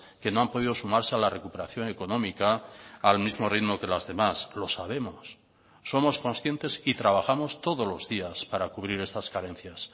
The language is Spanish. que no han podido sumarse a la recuperación económica al mismo ritmo que las demás lo sabemos somos conscientes y trabajamos todos los días para cubrir estas carencias